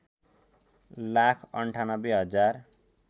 लाख ९८ हजार